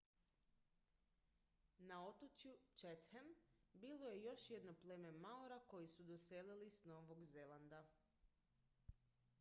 na otočju chatham bilo je još jedno pleme maora koji su doselili s novog zelanda